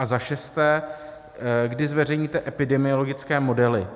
A za šesté: Kdy zveřejníte epidemiologické modely?